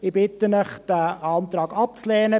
Ich bitte Sie, diesen Antrag abzulehnen.